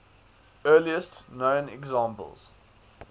earliest known examples